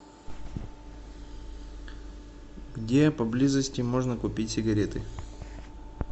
где поблизости можно купить сигареты